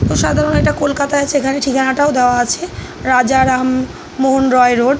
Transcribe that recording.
এটা সাধারণত কলকাতায় আছে। এখানে ঠিকানাটাও দেওয়া আছে। রাজা রাম মোহন রয় রোড ।